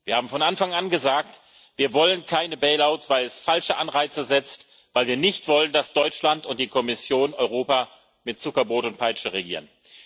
Wir haben von Anfang an gesagt Wir wollen keine bail outs weil es falsche Anreize setzt, weil wir nicht wollen, dass Deutschland und die Kommission Europa mit Zuckerbrot und Peitsche regieren.